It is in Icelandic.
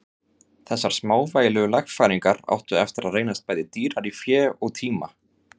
Þessar smávægilegu lagfæringar áttu eftir að reynast bæði dýrar í fé og tíma.